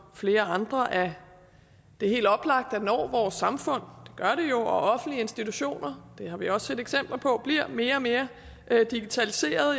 flere andre at det er helt oplagt at når vores samfund og offentlige institutioner det har vi også set eksempler på bliver mere og mere digitaliseret